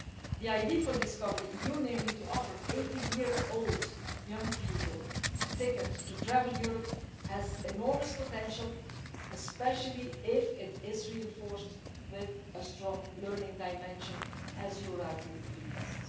The idea for DiscoverEU, namely to offer 18 year old young people a ticket to travel Europe, has enormous potential, especially if it is reinforced with a strong learning dimension, as you rightly request.